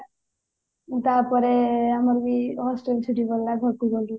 ତାପରେ ଆମର ବି hostel ଛୁଟି ପଡିଲା ଘରକୁ ଗାଲୁ